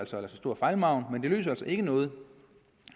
så stor fejlmargen men det løser ikke noget